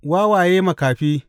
Wawaye makafi!